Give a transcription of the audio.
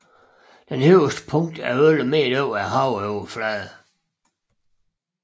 Højeste punkt er 11 m over havoverfladen